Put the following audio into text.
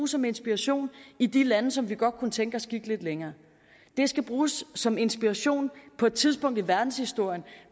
som inspiration i de lande som vi godt kunne tænke os gik lidt længere det skal bruges som inspiration på et tidspunkt i verdenshistorien